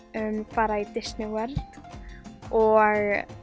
fara í Disney World og